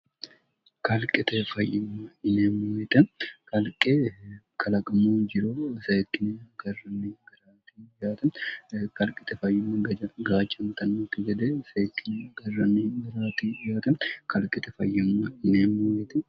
kalqite fayyimmo inemmoyixe kalqe kalaqimu jiro seekkine garranni giraati ytm kalqite fayyimmo gjagacantannoti gede seekkine garranni giraati iyaatam kalqete fayyimmo inemmoyeti